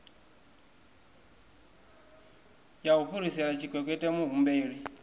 ya u fhirisela tshikwekwete muhumbeli